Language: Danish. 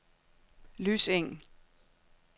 Lyseng